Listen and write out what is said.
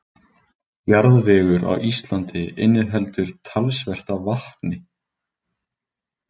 Jarðvegur á Íslandi inniheldur talsvert af vatni.